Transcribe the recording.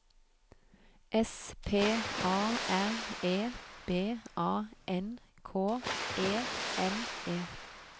S P A R E B A N K E N E